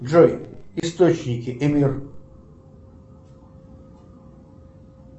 джой источники и мир